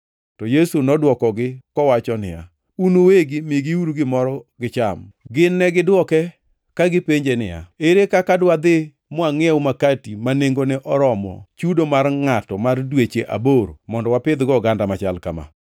To Yesu nodwokogi kowacho niya, “Un uwegi migiuru gimoro gicham.” Gin to negidwoke ka gipenje niya, “Ere kaka dwadhi mwangʼiew makati ma nengone oromo chudo mar ngʼato mar dweche aboro mondo wapidhgo oganda machal kama?”